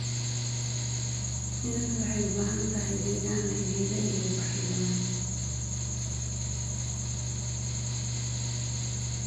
Shinnidu waxay u baahan tahay deegaan leh geedo iyo ubaxyo badan.